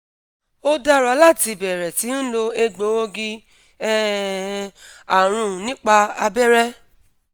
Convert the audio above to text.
ó dára láti bẹ̀rẹ̀ sí ń lo egboogi um arun nípa abẹrẹ